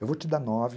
Eu vou te dar nove.